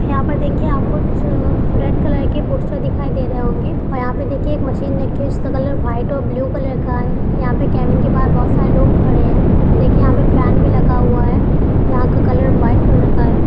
यहाँ पे देखिये यहा कुछ रेड कलर के पोस्टर दिखाई दे रहै होगे और यहा पे देखिये एक मशीन रखी हुई है। जिसका कलर व्हाइट और ब्लू कलर का है। यहा पे केबिन के बाहर बहुत सारे लोग खड़े है और देखिये यहा पे फेन भी लगा हुआ है। यहा का कलर व्हाइट कलर का है।